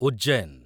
Ujjain